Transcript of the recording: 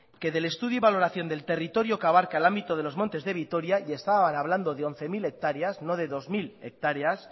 que del estudio y valoración del territorio que abarca el ámbito de los montes de vitoria y estaban hablando de once mil hectáreas no de dos mil hectáreas